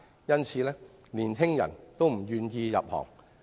因此，年輕人均不願意入行。